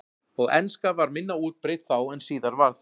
og enska var minna útbreidd þá en síðar varð